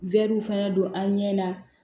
fana don an ɲɛ na